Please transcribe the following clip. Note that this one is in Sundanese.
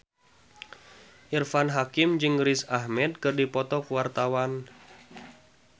Irfan Hakim jeung Riz Ahmed keur dipoto ku wartawan